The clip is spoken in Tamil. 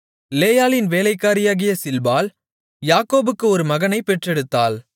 லேயாளின் வேலைக்காரியாகிய சில்பாள் யாக்கோபுக்கு ஒரு மகனைப் பெற்றெடுத்தாள்